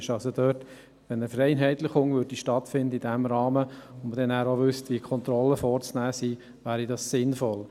Wenn eine Vereinheitlichung in diesem Bereich stattfände und man auch wüsste, wie die Kontrollen vorzunehmen sind, wäre dies sinnvoll.